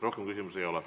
Rohkem küsimusi ei ole.